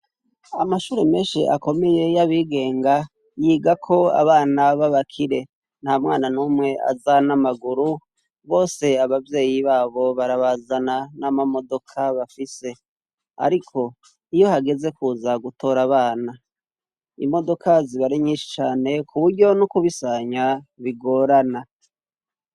Amashuri menshi akomeye yabigenga yigako abana babakire nta mwana numwe aza namaguru bose abavyeyi babo barabazana n'amamodoka bafise, ariko iyo hageze kuza gutora abana imodoka ziba ari nyishi cane kuburyo n'ukubisanya bigorana.